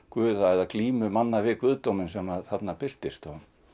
guða eða glímu manna við guðdóminn sem þarna birtist